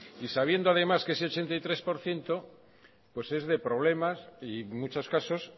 y sabiendo además que ese ochenta y tres por ciento es de problemas y muchos casos